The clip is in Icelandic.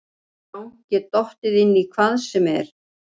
Já get dottið inn í hvað sem er.